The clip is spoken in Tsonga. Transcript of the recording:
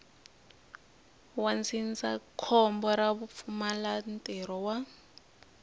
wa ndzindzakhombo ra vupfumalantirho wa